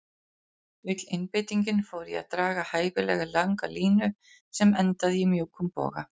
Öll einbeitingin fór í að draga hæfilega langa línu sem endaði í mjúkum boga.